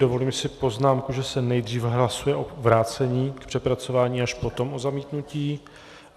Dovolím si poznámku, že se nejdřív hlasuje o vrácení k přepracování, až potom o zamítnutí.